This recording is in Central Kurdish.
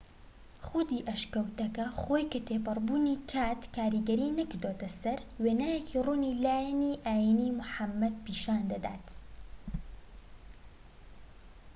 خودی ئەشکەوتەکە خۆی کە تێپەڕبوونی کات کاریگەری نەکردۆتە سەر وێنایەکی ڕوونی لایەنی ئاینیی موحەممەد پیشان دەدات